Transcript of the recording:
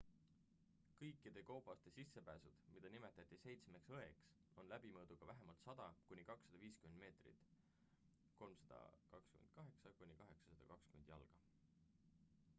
kõikide koobaste sissepääsud mida nimetati seitsmeks õeks on läbimõõduga vähemalt 100 kuni 250 meetrit 328 kuni 820 jalga